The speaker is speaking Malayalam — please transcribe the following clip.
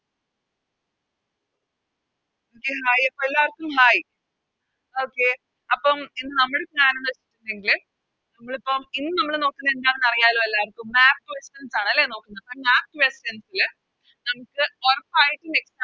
Okay hai അപ്പോം എല്ലാർക്കും Hai അപ്പോം ഇന്ന് നമ്മുടെ ന്ന് വെച്ചിട്ടുണ്ടെങ്കില് നമ്മളിപ്പോ ഇന്ന് നമ്മള് നോക്കുന്നെ എന്താന്ന് അറിയാലോ എല്ലാർക്കും Map questions ആണല്ലേ നോക്കുന്നത് Map questions ല് നമുക്ക് ഒറപ്പായിട്ടും Exam ന്